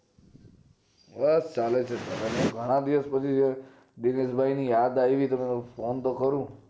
બસ ચાલે છે ઘણાં દિવસ પછી દિનેશભાઈ ની યાદ આવી ગય તો મેં phone તો કરું